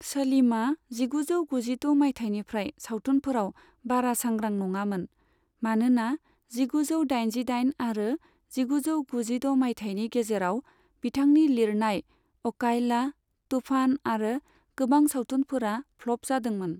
सलीमआ जिगुजौ गुजिद' मायथाइनिफ्राय सावथुनफोराव बारा सांग्रां नङामोन मानोना जिगुजौ दाइनजि दाइन आरो जिगुजौ गुजिद' मायथाइनि गेजेराव बिथांनि लिरनाय अकायला, तुफान आरो गोबां सावथुनफोरा फ्लप जादों मोन।